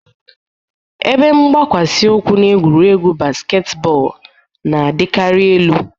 Ebe mgbakwasị ụkwụ na egwuregwu basketball na-adịkarị elu